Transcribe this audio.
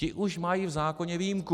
Ti už mají v zákoně výjimku.